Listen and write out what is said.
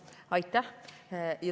Aitäh!